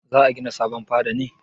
Za a gina sabon fada ne?